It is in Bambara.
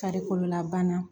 Farikololabana